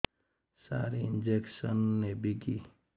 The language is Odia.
ସାର ଇଂଜେକସନ ନେବିକି